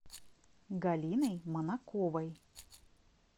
галиной манаковой